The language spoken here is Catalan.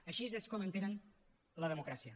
així és com entenen la democràcia